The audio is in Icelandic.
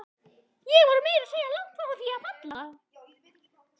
Ég var meira að segja langt frá því að falla.